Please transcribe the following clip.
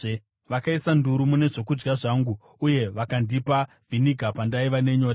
Vakaisa nduru mune zvokudya zvangu, uye vakandipa vhiniga pandaiva nenyota.